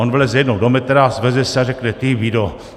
On vleze jednou do metra, sveze se a řekne: Ty vído.